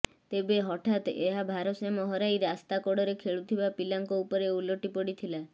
ତେବେ ହଠାତ୍ ଏହା ଭାରସାମ୍ୟ ହରାଇ ରାସ୍ତା କଡ଼ରେ ଖେଳୁଥିବା ପିଲାଙ୍କ ଉପରେ ଓଲଟି ପଡ଼ିଥିଲା